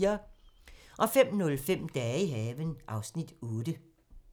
05:05: Dage i haven (Afs. 8)